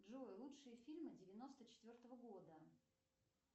джой лучшие фильмы девяносто четвертого года